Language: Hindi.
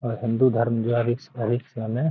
और हिन्दू धर्म जो है अधिक से अधिक समय --